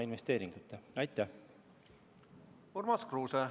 Urmas Kruuse, palun!